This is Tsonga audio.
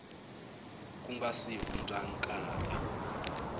ku nga si hundza nkarhi